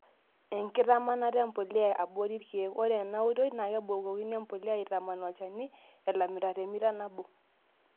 Enkitamanata empuliya aborii irkiek; Ore enaoitoi naa kebukokini empuliya aitamaan olchani elamita temita naboo.